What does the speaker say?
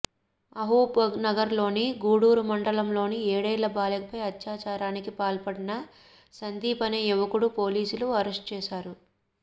మహబూబ్నగర్లోని గూడూరు మండలంలో ఏడేళ్ల బాలికపై అత్యాచారానికి పాల్పడిన సందీప్ అనే యువకుడిని పోలీసులు అరెస్ట్ చేశారు